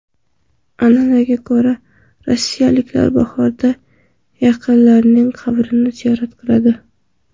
An’anaga ko‘ra, rossiyaliklar bahorda yaqinlarining qabrini ziyorat qiladi.